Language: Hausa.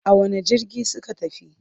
A wane jirgi suka tafi?